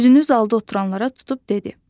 Üzünü zalda oturanlara tutub dedi: